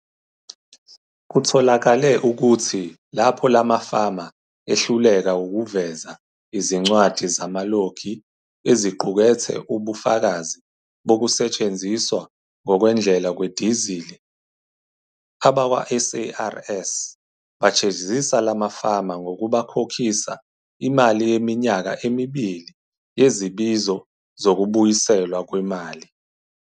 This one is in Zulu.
Kutholakale ukuthi lapho lamafama ehluleka ukuveza izincwadi zamalogi eziqukethe ubufakazi bokusetshenziswa ngokwendlela kwedizili, abakwaSARS bajezisa lamafama ngokubakhokhisa imali yeminyaka emibili yezibizo zokubuyiselwa kwemali.